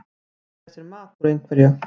Að gera sér mat úr einhverju